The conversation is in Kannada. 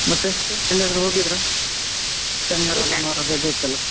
ಎಲ್ಲಾದ್ರೂ ಹೋಗಿದ್ರಾ? ರಜೆ ಇತ್ತಲ್ಲ?